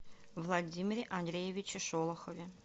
владимире андреевиче шолохове